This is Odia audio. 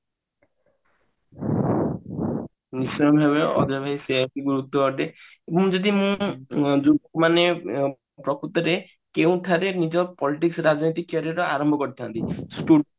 ଅଜୟ ଭାଇ ସେଇଆ ହିଁ ଗୁରୁତ୍ଵପୂର୍ଣ ଅଟେ ଯଦି ମୁଁ ଉଁ ମାନେ ଉଁ ପ୍ରକୁତରେ କେଉଁ ଠାରେ ନିଜ politics ରାଜନୀତି career ଆରମ୍ଭ କରିଥାନ୍ତି